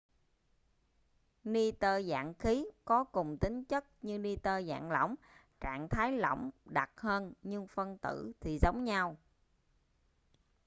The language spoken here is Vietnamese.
ni-tơ dạng khí có cùng tính chất như ni-tơ dạng lỏng trạng thái lỏng đặc hơn nhưng phân tử thì giống nhau